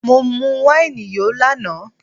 Mọ mu wáìnì yó lánàá